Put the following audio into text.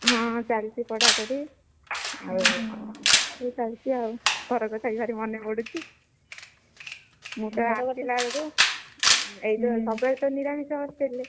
ହଁ, ଚାଲିଛି ପଢାପଢି, ଆଉ କଣ ସେଇ ଚାଲିଛି ଆଉ, ଘର କଥା ବି ଭାରି ମନପଡୁଛି, ମୁଁ ତ ଆସିଲା ବେଳକୁ ଏଇ ଯୋଉ ସବୁବେଳେ ତ ନିରାମିଷ hostel ରେ,